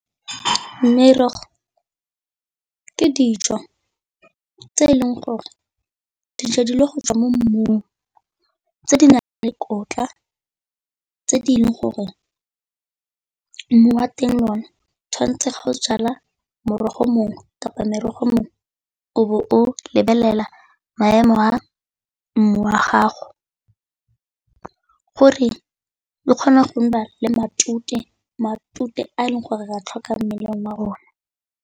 Merogo ke dijo tse e leng gore dijadilwe go tswa mo mmung, tse di na leng dikotla tse di le gore mmu wa teng lone tshwantse go jala morogo mongwe kapa merogo mongwe o bo o lebelela maemo a mmu wa gago, gore e kgona go nna le matute matute a e leng gore ga a tlhokang mo mmeleng wa rona.